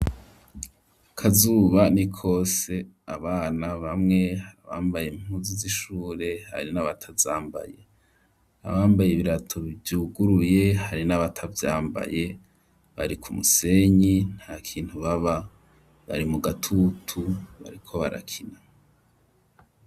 Akazuba ni kose abana bamwe bambaye impuzu z'ishure hari n'abatavyambaye abambaye ibirato vyuguruye hari n'abatavyambaye bari ku musenyi ntakintu baba bari mu gatutu bariko barakina.